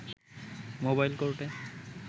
mobile কোর্টে